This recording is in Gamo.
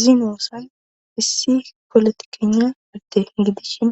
Zinoosan issi polotikena adde gidishin